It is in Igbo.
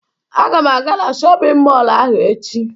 Aga m aga na shọpịn mọlụ ahụ echo.